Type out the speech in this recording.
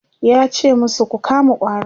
yace masu "Ku kama ƙwarin!"